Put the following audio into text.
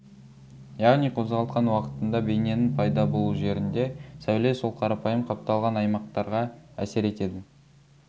яғни қозғалтқан уақытында бейненің пайда болу жерінде сәуле сол қарапайым қапталған аймақтарға әсер етеді